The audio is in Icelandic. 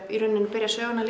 byrja söguna